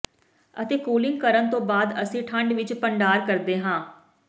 ਅਤੇ ਕੂਲਿੰਗ ਕਰਨ ਤੋਂ ਬਾਅਦ ਅਸੀਂ ਠੰਡ ਵਿਚ ਭੰਡਾਰ ਕਰਦੇ ਹਾਂ